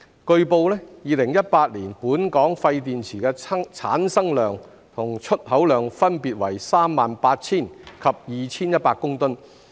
據報 ，2018 年本港廢電池的產生量和出口量分別為38000及2100公噸。